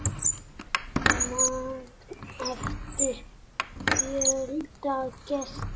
Magn eftir fjölda gesta.